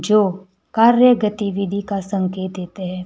जो कार्यगतिविधि का संकेत देते हैं।